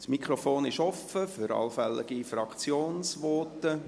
Das Mikrofon ist offen für allfällige Fraktionsvoten.